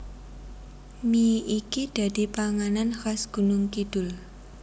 Mie iki dadi panganan khas Gunungkidul